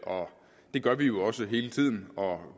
og det gør vi jo også hele tiden